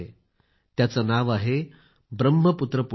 त्याचे नाव आहे ब्रह्मपुत्र पुष्कर